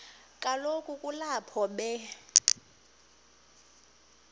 kaloku kulapho be